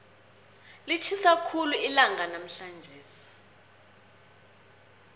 litjhisa khulu namhlanje ilanga